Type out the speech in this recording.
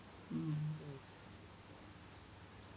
ഉം